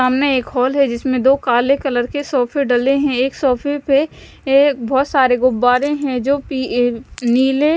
सामने के हॉल है जिसमें दो काले कलर के सोफे डले हैं एक सोफे पे ए बहुत सारे गुब्बारे हैं जो पी अ नीले--